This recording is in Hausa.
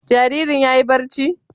Jaririn ya yi barci?